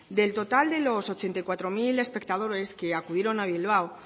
del total de los ochenta y cuatro mil espectadores que acudieron a bilbao